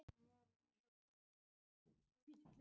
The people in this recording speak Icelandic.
Hún var aldursforseti þeirra sem spreyttu sig á þrautunum.